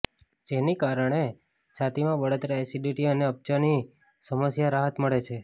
જેને કારણે છાતીમાં બળતરા એસિડીટી અને અપચાની સમસ્યામાં રાહત મળે છે